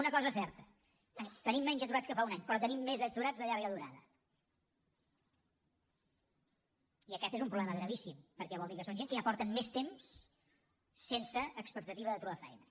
una cosa és certa tenim menys aturats que fa un any però tenim més aturats de llarga durada i aquest és un problema gravíssim perquè vol dir que són gent que ja fa més temps que estan sense expectativa de trobar feina